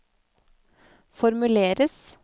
formuleres